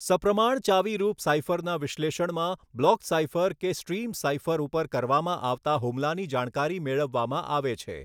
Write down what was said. સપ્રમાણ ચાવીરૂપ સાઇફરના વિશ્લેષણમાં બ્લોક સાઇફર કે સ્ટ્રિમ સાઇફર ઉપર કરવામાં આવતા હુમલાની જાણકારી મેળવવામાં આવે છે.